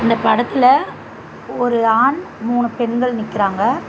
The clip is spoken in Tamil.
இந்தப் படத்துல ஒரு ஆண் மூணு பெண்கள் நிக்கிறாங்க.